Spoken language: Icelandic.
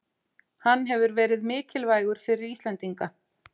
Hann hefur verið mikilvægur fyrir Íslendinga